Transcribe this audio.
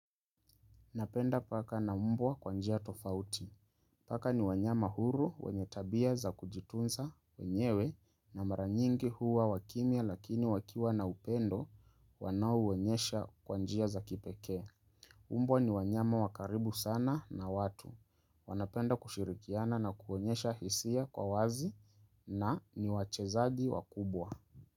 Napenda paka na mbwa kwa njia tofauti. Paka ni wanyama huru wenye tabia za kujitunza wenyewe na maranyingi huwa wakimya lakini wakiwa na upendo wanao uwonyesha kwanjia za kipeke. Mbwa ni wanyama wa karibu sana na watu. Wanapenda kushirikiana na kuwonyesha hisia kwa wazi na ni wachezaji wakubwa.